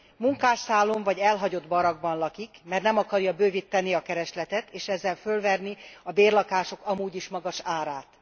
Munkásszállón vagy elhagyott barakkban lakik, mert nem akarja bővíteni a keresletet, és ezzel fölverni a bérlakások amúgy is magas árát.